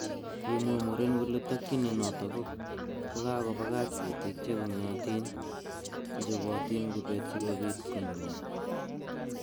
Kimwa muren kole tokyin inoton ko kakobagach ketik che kongyotin chechobotin kubet sikobit konunio.